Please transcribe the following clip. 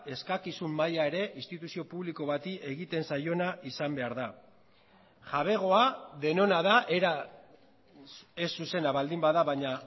eskakizun maila ere instituzio publiko bati egiten zaiona izan behar da jabegoa denona da era ez zuzena baldin bada baina